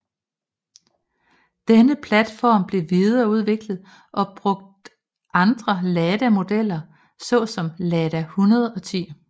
Denne platform blev videreudviklet og brugt andre Lada modeller så som Lada 110